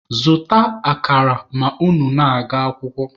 Zụta akara ma unu na-aga akwụkwọ!